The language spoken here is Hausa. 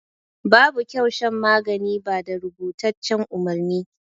Babu kyau shan magani ba da rubutaccen umarni.